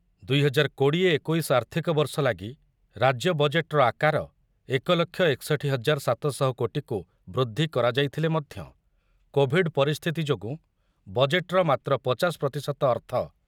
ଦୁଇ ହଜାର କୋଡି଼ଏ ଏକୋଇଶ ଆର୍ଥିକ ବର୍ଷ ଲାଗି ରାଜ୍ୟ ବଜେଟ୍‌‌‌ର ଆକାର ଏକ ଲକ୍ଷ ଏକଷଠି ହଜାର ସାତ ଶହ କୋଟିକୁ ବୃଦ୍ଧି କରାଯାଇଥିଲେ ମଧ୍ୟ କୋଭିଡ଼୍ ପରିସ୍ଥିତି ଯୋଗୁଁ ବଜେଟ୍‌‌‌ର ମାତ୍ର ପଚାଶ ପ୍ରତିଶତ ଅର୍ଥ